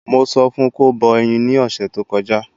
Mo sọ fún kó bọ ẹyin ni ọ̀sẹ̀ tó kọjá